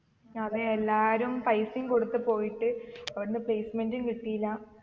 അതെ എല്ലാരും പൈസയും കൊടുത്ത് പോയിട്ട് അവിടന്ന് placement ഉം കിട്ടീല